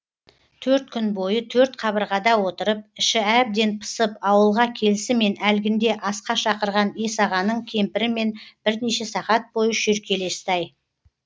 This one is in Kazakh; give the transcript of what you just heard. төрт күн бойы төрт қабырғада отырып іші әбден пысып ауылға келісімен әлгінде асқа шақырған есағаның кемпірімен бірнеше сағат бойы шүйіркелесті ай